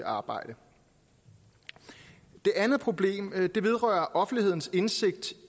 arbejde det andet problem vedrører offentlighedens indsigt